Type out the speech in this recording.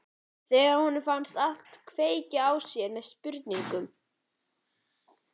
Þegar honum finnst allt kveikja með sér spurningar.